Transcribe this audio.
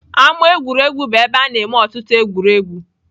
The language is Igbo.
Ama egwuregwu bụ ebe a na-eme ọtụtụ egwuregwu.